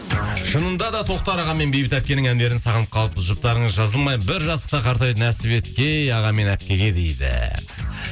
шынында да тоқтар аға мен бейбіт әпкенің әндерін сағынып қалыппыз жұптарыңыз жазылмай бір жастықта қартаюды нәсіп еткей аға мен әпкеге дейді